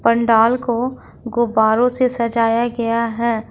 पंडाल को गुब्बारों से सजाया गया है।